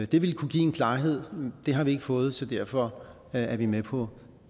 det ville kunne give en klarhed det har vi ikke fået så derfor er vi med på